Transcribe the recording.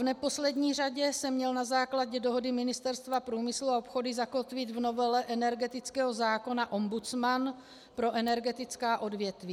V neposlední řadě se měl na základě dohody Ministerstva průmyslu a obchodu zakotvit v novele energetického zákona ombudsman pro energetická odvětví.